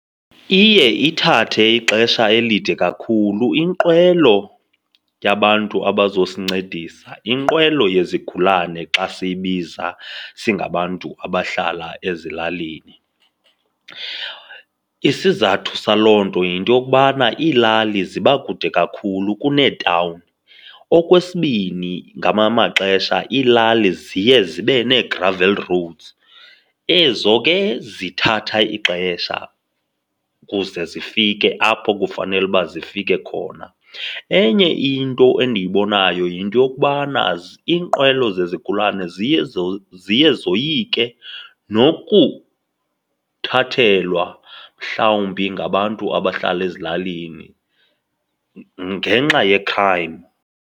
Iye ithathe ixesha elide kakhulu inqwelo yabantu abazosincedisa, inqwelo yezigulane xa siyibiza singabantu abahlala ezilalini. Isizathu saloo nto yinto yokubana iilali ziba kude kakhulu kuneetawuni. Okwesibini, ngamanye amaxesha iilali ziye zibe nee-gravel roads, ezo ke zithatha ixesha ukuze zifike apho kufanele uba zifike khona. Enye into endiyibonayo yinto yokubana iinqwelo zezigulane ziye zoyike nokuthathelwa mhlawumbi ngabantu abahlala ezilalini ngenxa ye-crime.